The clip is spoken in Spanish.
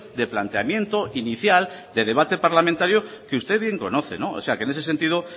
de planteamiento inicial de debate parlamentario que usted bien conoce o sea que en ese sentido